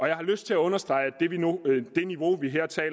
jeg har lyst til at understrege